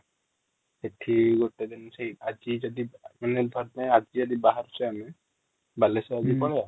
ସେଠି ଗୋଟେ ଦିନ ସେଇ ଆଜି ଯଦି ମାନେ ଆଜି ଯଦି ବାହାରୁଛେ ଆମେ ବାଲେଶ୍ଵର ଆଜି ହୁଁ ପଳେଇବା